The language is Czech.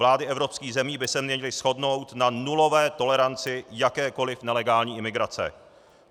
Vlády evropských zemí by se měly shodnout na nulové toleranci jakékoliv nelegální imigrace.